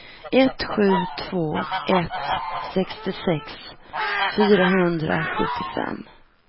ett sju två ett sextiosex fyrahundrasjuttiofem